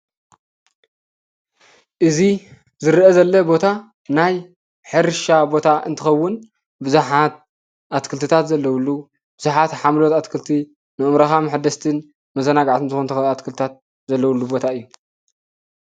እዚ ዝርኣ ዘሎ ቦታ ናይ ሕርሻ ቦታ እንትኸውን ብዙሓት ኣትክልቲታን ዘለውሉ ብዙሓት ሓምለዎት ኣትክልቲ ንኣእምሮኻ መሐደስትን መዘናግዕቲ ዝኾኑ ኣትክልቲታት ዘለውሉ ቦታ እዩ።